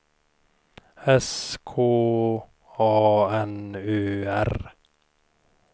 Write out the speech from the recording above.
S K A N Ö R